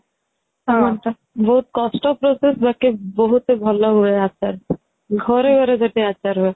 ବହୁତ କଷ୍ଟ process ବାକି ବହୁତ ଭଲ ହୁଏ ଆଚାର ଘରେ ଘାରେ ଯଦି ଆଚାର ହୁଏ